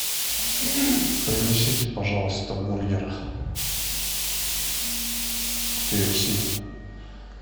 принесите пожалуйста бургер ки эф си